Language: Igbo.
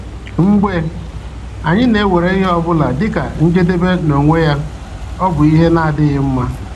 Mgbe anyị na-ewere ihe ọ bụla dịka njedebe n’onwe ya, ọ bụ ihe na-adịghị mma.